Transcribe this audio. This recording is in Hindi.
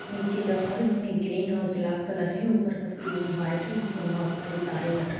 नीचे का फर्श में ग्रीन और ब्लाक कलर है। ऊपर का सीलिंग वाइट है जिसमें बहोत सारी तारें लटक --